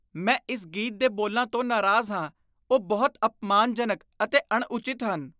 ਮੈਂ ਇਸ ਗੀਤ ਦੇ ਬੋਲਾਂ ਤੋਂ ਨਾਰਾਜ਼ ਹਾਂ। ਉਹ ਬਹੁਤ ਅਪਮਾਨਜਨਕ ਅਤੇ ਅਣਉਚਿਤ ਹਨ।